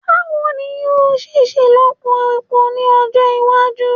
Bawo ni yoo ṣe ṣelọpọ epo ni ọjọ iwaju